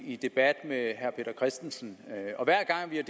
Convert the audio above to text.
i debat med herre peter christensen og hver gang vi